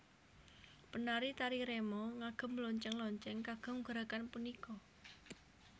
Penari tari remo ngagem lonceng lonceng kagem gerakan punika